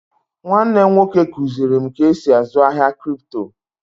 Nwanne m nwoke kụzịrị m ka esi azụ ahia krypto